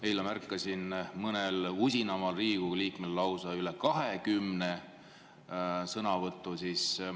Eile märkasin mõnel usinamal Riigikogu liikmel lausa üle kahekümne sõnavõtu.